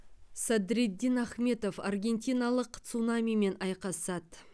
садриддин ахмедов аргентиналық цунамимен айқасады